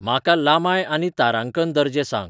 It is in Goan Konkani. म्हाका लांबाय आनी तारांकन दर्जे सांग